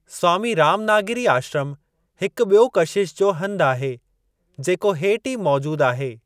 स्वामी रामनागीरी आश्रमु हिकु ॿियो कशिश जो हंधु आहे, जेको हेठि ई मौजूद आहे।